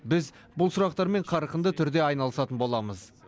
біз бұл сұрақтармен қарқынды түрде айналысатын боламыз